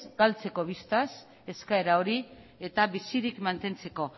galtzeko eskaera hori eta bizirik mantentzeko